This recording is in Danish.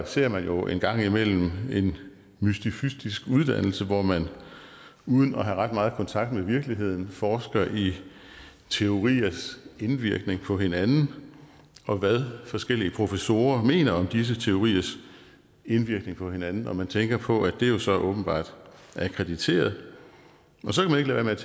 ser man jo en gang imellem en mystifystisk uddannelse hvor man uden at have ret meget kontakt med virkeligheden forsker i teoriers indvirkning på hinanden og hvad forskellige professorer mener om disse teoriers indvirkning på hinanden man tænker på at det jo så åbenbart er akkrediteret så kan man